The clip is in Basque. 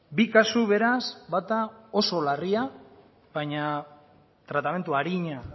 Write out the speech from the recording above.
bi kasu beraz bata oso larria baina tratamendu arina